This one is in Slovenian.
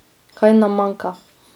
Kaj nam manjka?